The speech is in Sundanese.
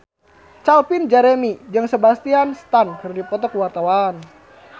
Calvin Jeremy jeung Sebastian Stan keur dipoto ku wartawan